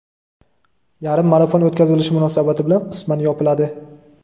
yarim marafon o‘tkazilishi munosabati bilan qisman yopiladi.